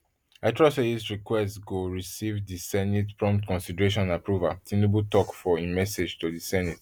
i trust say dis request go receive di senate prompt consideration and approval tinubu tok for im message to di senate